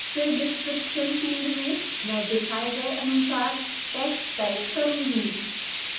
then in the फिर description field में मैं दिखाए गए अनुसार text type करूँगी